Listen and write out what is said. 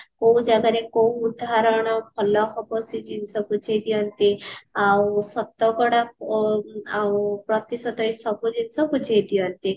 କୋଉ ଜାଗା ରେ କୋଉ ଉଦାହରଣ ଭଲ ହବ ସେ ଜିନିଷ ବୁଝେଇ ଦିଅନ୍ତି ଆଉ ଶତକଡା ଅ ଆଉ ପ୍ରତିଶତ ଏସବୁ ଜିନିଷ ବୁଝେଇ ଦିଅନ୍ତି